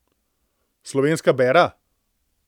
Slovenska bera?